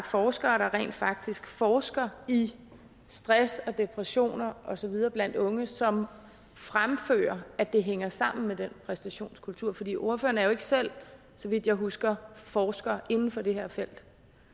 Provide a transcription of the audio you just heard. forskere der rent faktisk forsker i stress og depression og så videre blandt unge som fremfører at det hænger sammen med den præstationskultur for ordføreren er jo ikke selv så vidt jeg husker forsker inden for det her felt